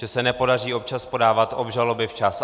Že se nepodaří občas podávat obžaloby včas.